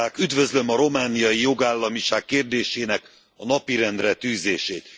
Üdvözlöm a romániai jogállamiság kérdésének a napirendre tűzését.